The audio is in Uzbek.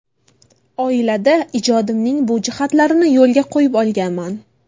Oilada ijodimning bu jihatlarini yo‘lga qo‘yib olganman.